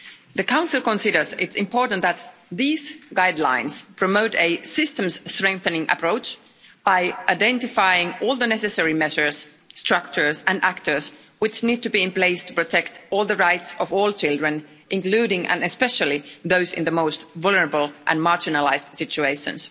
The Council considers it important that these guidelines promote a systems-strengthening approach by identifying all the necessary measures, structures and actors which need to be in place to protect all the rights of all children, including, and especially, those in the most vulnerable and marginalised situations.